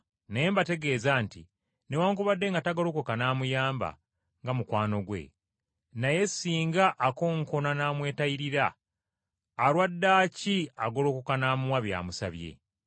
Naye mbategeeza nti, Newaakubadde nga tagolokoka n’amuyamba nga mukwano gwe, naye, singa akonkona n’amwetayirira, alwaddaaki agolokoka n’amuwa by’amusabye.